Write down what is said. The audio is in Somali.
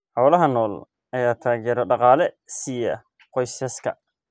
Xoolaha nool ayaa taageero dhaqaale siiya qoysaska.